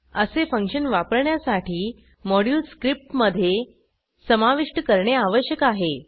असे फंक्शन वापरण्यासाठी moduleस्क्रिप्टमधे समाविष्ट करणे आवश्यक आहे